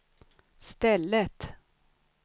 stället